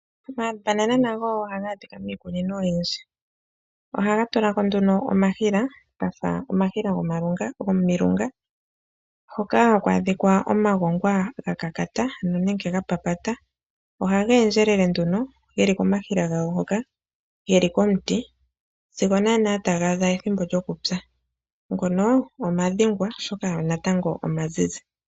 Omambanana nago ohaga adhika miikunino oyindji. Ohaga tula ko nduno omahila gafa omahila gomilunga, hoka haku adhika omagongwa gakakata ano nenge ga papata, ohage endjelele nduno geli komahila gawo ngoka geli komuti sigo naana taga adha ethimbo lyokupya. Ngono omadhengwa oshoka natango omazizi.